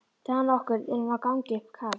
Dag nokkurn er hann á gangi upp Karl